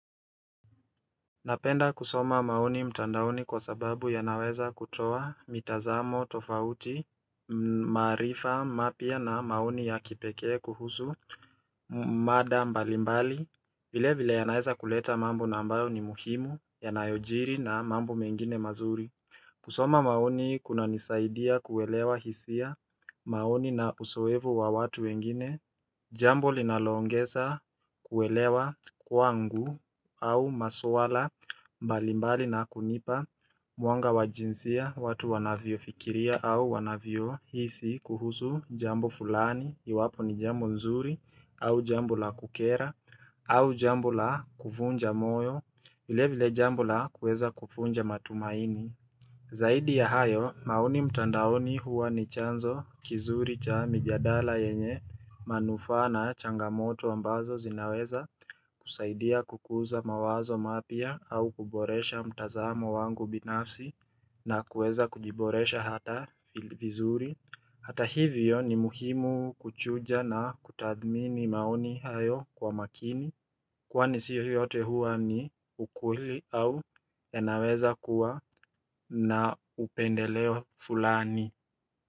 Napenda kusoma maoni mtandaoni kwa sababu yanaweza kutoa mitazamo tofauti maarifa mapya na maoni ya kipekee kuhusu mada mbalimbali vile vile yanaweza kuleta mambo na ambayo ni muhimu yanayojiri na mambo mengine mazuri kusoma maoni kunanisaidia kuelewa hisia maoni na usoevu wa watu wengine Jambo linaloongeza kuelewa kwangu au maswala mbalimbali na kunipa mwanga wa jinsia watu wanavyofikiria au wanavyohisi kuhusu jambo fulani iwapo ni jambo nzuri au jambo la kukera au jambo la kuvunja moyo vile vile jambo la kuweza kuvunja matumaini. Zaidi ya hayo maoni mtandaoni huwa ni chanzo kizuri cha mijadala yenye manufaa na changamoto ambazo zinaweza kusaidia kukuza mawazo mapya au kuboresha mtazamo wangu binafsi na kuweza kujiboresha hata vizuri Hata hivyo ni muhimu kuchuja na kutadhmini maoni hayo kwa makini Kwani sio yote huwa ni ukweli au yanaweza kuwa na upendeleo fulani.